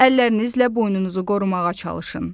Əllərinizlə boynunuzu qorumağa çalışın.